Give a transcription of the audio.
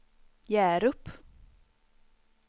Hjärup